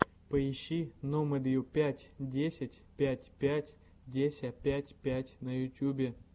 поищи номэдюпятьдесятпятьпятьдесяпятьпять на ютубе